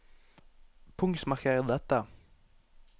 Punktmarker dette